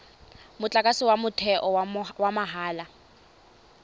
motlakase wa motheo wa mahala